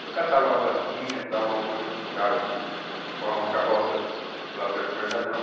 Eu catava umas latinha, dava uma força para o cara pôr uma carroça lá perto do mercadão.